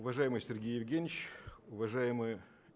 уважаемый сергей евгеньевич уважаемые